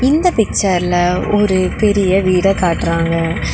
இந்த பிக்சர்ல ஒரு பெரிய வீடா காட்றாங்க.